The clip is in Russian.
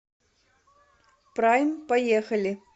прайм поехали